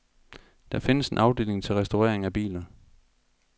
Der findes en afdeling til restaurering af biler.